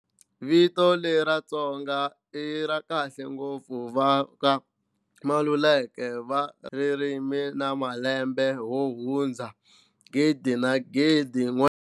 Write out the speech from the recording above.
Vito leri ra "Tsonga" i ra khale ngopfu, va ka Maluleke va ririmi na malembe ho hundza 1000 na 1000.